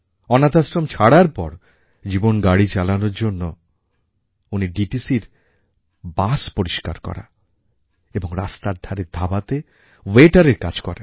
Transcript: অনাথাশ্রম ছাড়ার পর জীবনগাড়ি চালানোর জন্য উনি DTCর বাস পরিষ্কার করা এবং রাস্তার ধারের ধাবাতে ওয়েটারের কাজ করেন